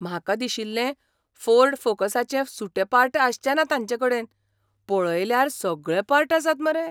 म्हाका दिशिल्लें फोर्ड फोकसाचें सुटे पार्ट आसचें ना तांचेकडेन, पळयल्यार सगळे पार्ट आसात मरे.